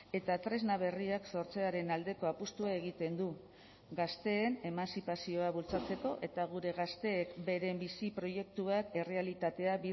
eta tresna berriak sortzearen aldeko apustua egiten du gazteen emantzipazioa bultzatzeko eta gure gazteek beren bizi proiektuak errealitatea